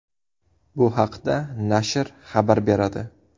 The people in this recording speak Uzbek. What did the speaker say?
Bu haqda nashr xabar beradi.